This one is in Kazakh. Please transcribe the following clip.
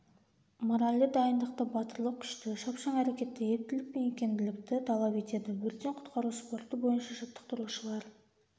моральды дайындықты батырлық күшті шапшаң әрекетті ептілік пен икемділікті талап етеді өрттен-құтқару спорты бойынша жаттықтырушылар